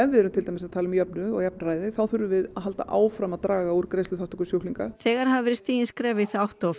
við erum til dæmis að tala um jöfnuð og jafnræði þá þurfum við að halda áfram að draga úr greiðsluþátttöku sjúklinga þegar hafi verið stigin skref í þá átt og